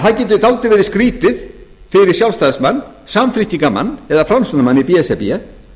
það getur verið dálítið skrýtið fyrir sjálfstæðismann samfylkingarmann eða framsóknarmann í b s r b